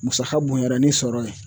Musaka bonyara ni sɔrɔ ye